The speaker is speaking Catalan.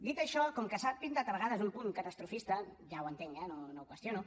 dit això com que s’ha pintat a vegades un punt catastrofista ja ho entenc eh no ho qüestiono